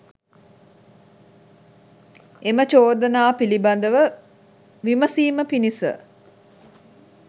එම චෝදනා පිළිබඳව විමසීම පිණිස